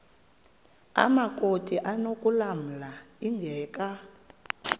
amakrot anokulamla ingeka